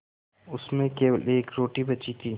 उसमें केवल एक रोटी बची थी